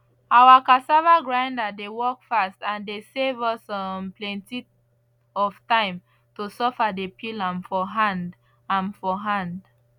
our cassava grinder dey work fast and dey save us um plenty of time to suffer dey peel am for hand am for hand